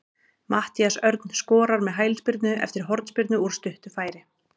Matthías Örn skorar með hælspyrnu eftir hornspyrnu úr stuttu færi.